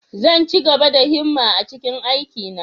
Zan ci gaba da himma a cikin aikina.